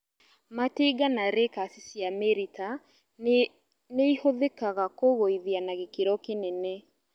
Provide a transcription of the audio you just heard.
matinga na rakers cia mĩrita nĩihũthĩkaga kũgũithia na gĩkĩro kĩnene